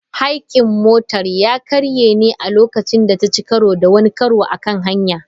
Haykin motar ya karye ne a lokacin da ta ci karo da wani karo a kan hanya.